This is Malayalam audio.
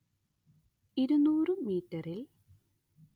ഇരുനൂറ്‌ മീറ്ററിൽ